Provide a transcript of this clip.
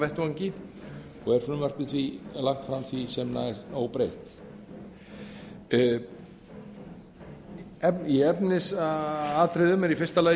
vettvangi og er frumvarpið því lagt fram því sem næst óbreytt í efnisatriðum er í fyrsta lagi